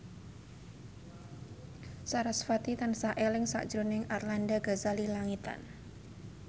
sarasvati tansah eling sakjroning Arlanda Ghazali Langitan